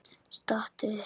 Stattu upp!